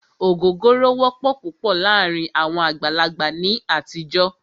Ògógóró wọ́pọ̀ púpọ̀ láàárín àwọn àgbàlagbà ní àtijọ́.